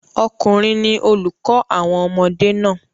ọkùnrin ni olùkọ́ àwọn ọmọdé naa